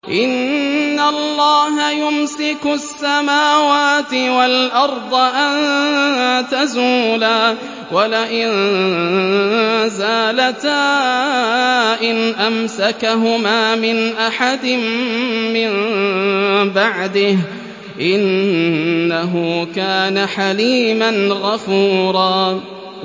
۞ إِنَّ اللَّهَ يُمْسِكُ السَّمَاوَاتِ وَالْأَرْضَ أَن تَزُولَا ۚ وَلَئِن زَالَتَا إِنْ أَمْسَكَهُمَا مِنْ أَحَدٍ مِّن بَعْدِهِ ۚ إِنَّهُ كَانَ حَلِيمًا غَفُورًا